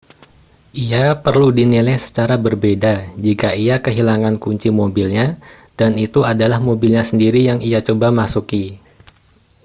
ia perlu dinilai secara berbeda jika ia kehilangan kunci mobilnya dan itu adalah mobilnya sendiri yang ia coba masuki